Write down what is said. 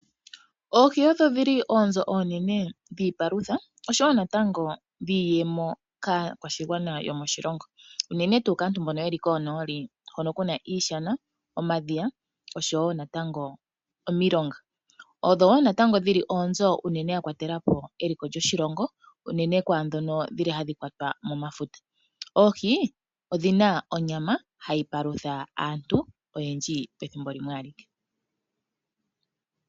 Oohi odho dhi li oonzo oonene dhiipalutha, osho wo natango dhiiyemo kaakwashigwana yomoshilongo. Uunene tuu kaantu mbono ye li konooli, hono kuna iishana, omadhiya oshowo natango omilonga. Odho wo natango dhi li oonzo unene ya kwatelapo eliko lyoshilongo unene kwaadhono dhi li hadhi kwatwa momafuta. Oohi odhina onyama, hayi palutha aantu oyendji, pethimbo limwe alike.